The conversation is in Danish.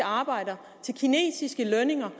arbejdere til kinesiske lønninger